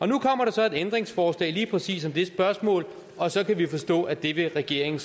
nu kommer der så et ændringsforslag om lige præcis det spørgsmål og så kan vi forstå at det vil regeringen